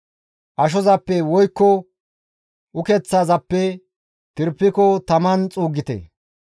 Ashozappe woykko ukeththazappe tirpiko taman xuuggite.